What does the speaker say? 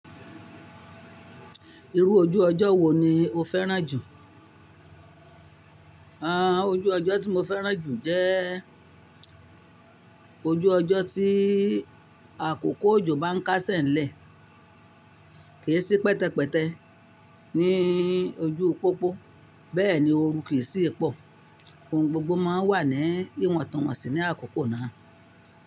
Irú ojú ọjọ́ wo ni o fẹ́ràn jù? Àn, ojú ọjọ́ tí mo fẹ́ràn jù jẹ ojú ọjọ́ tí àkókò òjò bá ń kásẹ̀ ńlẹ̀, kì í sí pẹtẹpẹtẹ ní ojú pópó bẹ́ẹ̀ ni ooru kì í sì pọ̀, ohun gbogbo má ń wà ní ìwọ̀ntọ̀wọ̀nsì ní àkókò náà.